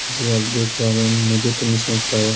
इसे अब देख पारे मुझे तो नही समझ पा रहा।